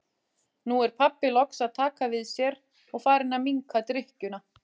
Nú er pabbi loks að taka við sér og farinn að minnka drykkjuna.